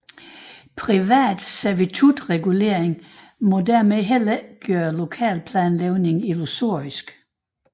Privat servitutregulering må således heller ikke gøre lokalplanlægningen illusorisk